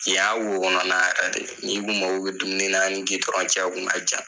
Ki y'a wokɔnɔna ,ni kun mago bɛ dumunina y ni'i gudɔrɔn ce o ku ka jan.